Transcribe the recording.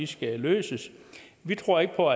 skal løses vi tror ikke på